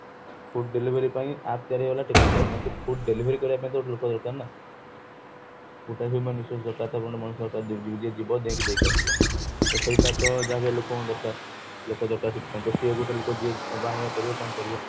food delivery ପାଇଁ act ତିଆରି ହେଇଗଲା technically କିନ୍ତୁ food delivery ପାଇଁ କିନ୍ତୁ ଗୋଟେ ଲୋକ ଦରକାର ନା ଗୋଟେ human resource ଦରକାର ତ ପାଇଁ ଗୋଟେ ମଣିଷ ଦରକାର ଯିଏ ଯିବା ନେଇକି ଦେଇକି ଆସିବ ତ ସେଇଟା ତ ଯାହାବି ହେଲେ ଲୋକ ଦରକାର ଲୋକ ଦରକାର ସେଥିପାଇଁ ତ ସିଏ ଗୋଟେ ଲୁକ ଯିଏ ନବ ଆଣିବା କରିବ କଣ କରିବ